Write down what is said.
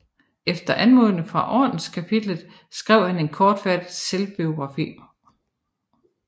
Efter anmodning fra Ordenskapitlet skrev han en kortfattet selvbiografi